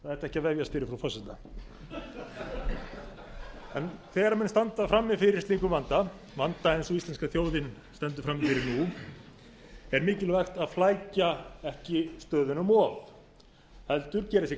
ætti ekki að vefjast fyrir frú forseta þegar menn standa frammi fyrir lítum vanda vanda eins og íslenska þjóðin stendur frammi fyrir nú er mikilvægt að flækja ekki stöðuna um of heldur gera sér